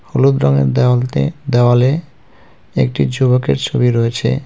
হলুদ রঙের দেওয়ালতে দেওয়ালে একটি যুবকের ছবি রয়েছে.